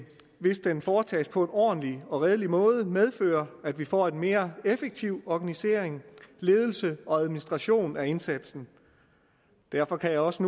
hvis den foretages på en ordentlig og redelig måde medføre at vi får en mere effektiv organisering ledelse og administration af indsatsen derfor kan jeg også